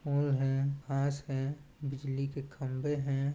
Hole है घास है बिजली के खम्बे है।